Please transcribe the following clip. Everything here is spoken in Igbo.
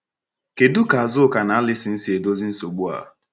Kedu ka Azuka na Alison si edozi nsogbu a?